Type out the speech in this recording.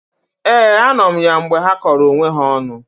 Ee, anọ m ya mgbe ha kọrọ onwe ha ọnụ